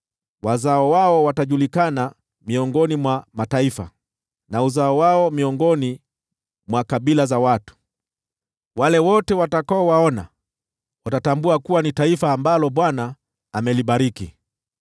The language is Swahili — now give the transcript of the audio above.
Wazao wao watajulikana miongoni mwa mataifa, na uzao wao miongoni mwa kabila za watu. Wale wote watakaowaona watatambua kuwa ni taifa ambalo Bwana amelibariki.”